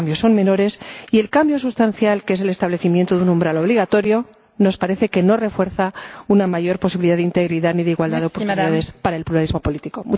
Los cambios son menores y el cambio sustancial, que es el establecimiento de un umbral obligatorio, nos parece que no refuerza una mayor posibilidad de integridad ni de igualdad de oportunidades para el pluralismo político.